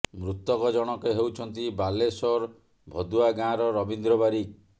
ମୃତକ ଜଣକ ହେଉଛନ୍ତି ବାଲେଶ୍ବର ଭଦୁଆ ଗାଁର ରବୀନ୍ଦ୍ର ବାରିକ